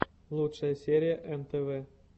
лучшая серия нтв